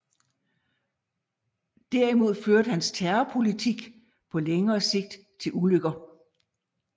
Derimod førte hans terrorpolitik på længere sigt til ulykker